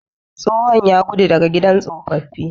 Tsohon ya gudu daga gidan tsofaffi.